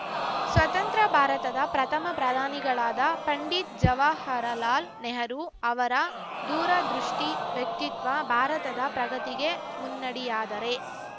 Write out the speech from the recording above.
ಸ್ವತಂತ್ರ ಭಾರತದ ಪ್ರಥಮ ಪ್ರಧಾನಿಗಳಾದ ಪಂಡಿತ್‌ ಜವಾಹರಲಾಲ್‌ ನೆಹರು ಅವರ ದೂರದೃಷ್ಟಿವ್ಯಕ್ತಿತ್ವ ಭಾರತದ ಪ್ರಗತಿಗೆ ಮುನ್ನಡಿಯಾದರೆ